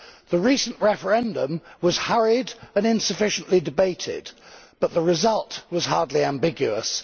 The recent referendum was hurried and insufficiently debated, but the result was hardly ambiguous.